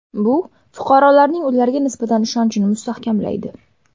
Bu fuqarolarning ularga nisbatan ishonchini mustahkamlaydi.